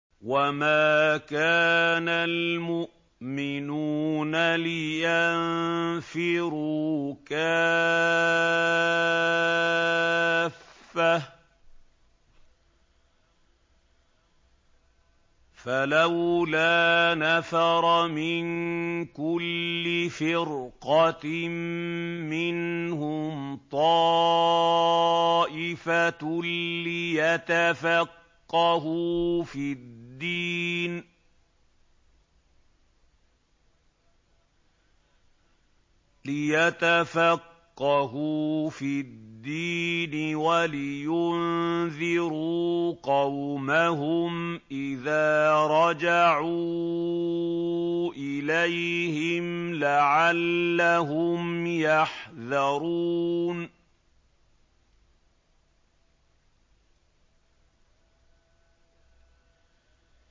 ۞ وَمَا كَانَ الْمُؤْمِنُونَ لِيَنفِرُوا كَافَّةً ۚ فَلَوْلَا نَفَرَ مِن كُلِّ فِرْقَةٍ مِّنْهُمْ طَائِفَةٌ لِّيَتَفَقَّهُوا فِي الدِّينِ وَلِيُنذِرُوا قَوْمَهُمْ إِذَا رَجَعُوا إِلَيْهِمْ لَعَلَّهُمْ يَحْذَرُونَ